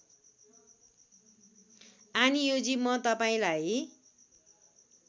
आनियोजी म तपाईँलाई